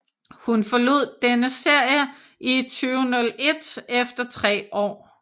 Hun forlod denne serie i 2001 efter tre år